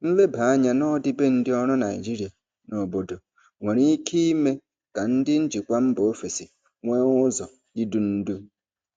Nleba anya n'ọdịbendị ọrụ Naijiria na obodo nwere ike ime ka ndị njikwa mba ofesi nwee ụzọ idu ndú.